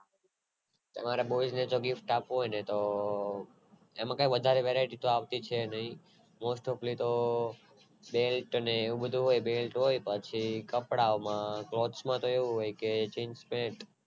તમારે જો boys ને gift આપવું હોય તો એમાં કાય વધારે Varieties આવતી છે નય most topali તો Belt હોય પછી કપડાં માં તો